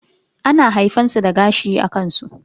ana haifan su da gashi a kansu.